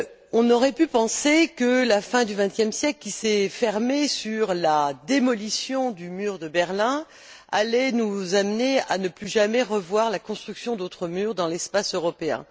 On aurait pu penser que la fin du XXe siècle, qui s'est achevé sur la démolition du mur de Berlin, allait nous amener à ne plus jamais revoir la construction d'autres murs dans l'espace européen.